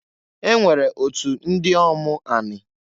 E nwere otu ndiomu anị.